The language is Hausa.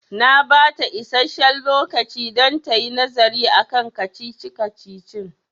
Na bata isasshen lokaci don tayi nazari akan kacici-kacicin